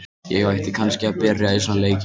Ég ætti kannski að byrja í svona leikjum.